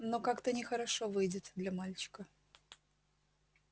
но как-то нехорошо выйдет для мальчика